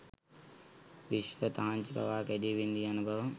විශ්ව තහංචි පවා කැඞී බිඳී යන බව